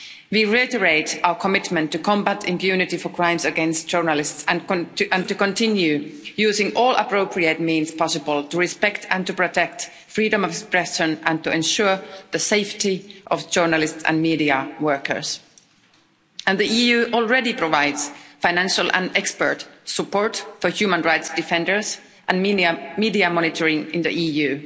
We reiterate our commitment to combatting impunity for crimes against journalists and to continue using all appropriate means possible to respect and to protect freedom of expression and to ensure the safety of journalists and media workers. The EU already provides financial and expert support for human rights defenders and media monitoring in the EU.